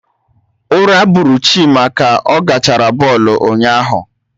Ura bụrụ Chima ka ọ gachara bọlụ ụnyaahụ